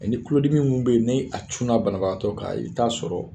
ni tulodimi minnu be ye ni a cunna banabaatɔ kan i bi taa sɔrɔ